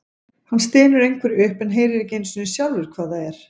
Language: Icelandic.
Hann stynur einhverju upp en heyrir ekki einu sinni sjálfur hvað það er.